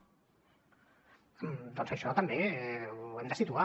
doncs això també ho hem de situar